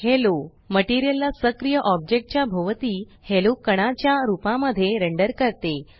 hello material ला सक्रिय object च्या भोवती हॅलो कणाच्या रूपामध्ये रेंडर करते